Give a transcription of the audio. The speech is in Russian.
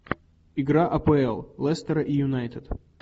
игра апл лестера и юнайтед